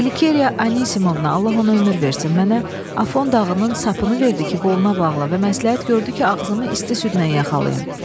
Qlikeriya Anisimovna, Allah ona ömür versin, mənə Afon dağının sapını verdi ki, qoluna bağla və məsləhət gördü ki, ağzımı isti südlə yaxalayım.